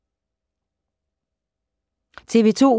TV 2